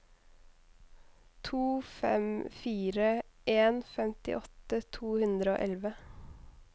to fem fire en femtiåtte to hundre og elleve